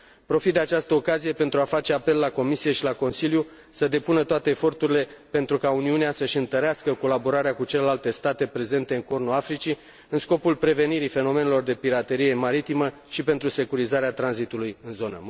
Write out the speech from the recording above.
Profit de această ocazie pentru a face apel la Comisie și la Consiliu să depună toate eforturile pentru ca Uniunea să își întărească colaborarea cu celelalte state prezente în Cornul Africii în scopul prevenirii fenomenelor de piraterie maritimă și pentru securizarea tranzitului în zonă